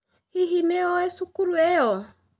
Hihi nĩ ũĩ cukuru ĩyo?